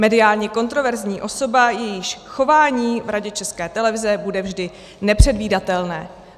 Mediálně kontroverzní osoba, jejíž chování v Radě České televize bude vždy nepředvídatelné."